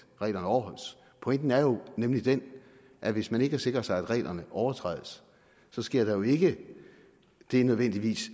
reglerne overholdes pointen er jo nemlig den at hvis man ikke sikrer sig mod at reglerne overtrædes sker der jo ikke nødvendigvis